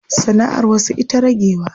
Sana'ar wasu ita ragewa.